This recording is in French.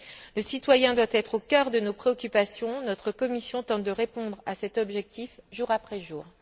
Le citoyen doit être au cœur de nos préoccupations, notre commission tente de répondre à cet objectif jour après jour.